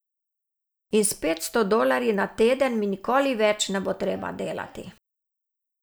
In s petsto dolarji na teden mi nikoli več ne bo treba delati.